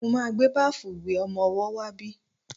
Mo ma gbé báfù ìwẹ̀ ọmọwọ́ wá bí.